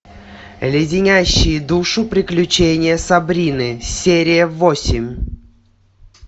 леденящие душу приключения сабрины серия восемь